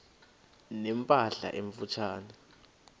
ne mpahla emfutshane